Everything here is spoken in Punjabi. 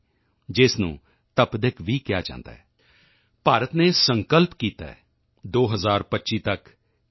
ਦੀ ਜਿਸ ਨੂੰ ਤਪਦਿਕ ਵੀ ਕਿਹਾ ਜਾਂਦਾ ਹੈ ਭਾਰਤ ਨੇ ਸੰਕਲਪ ਕੀਤਾ ਹੈ 2025 ਤੱਕ ਟੀ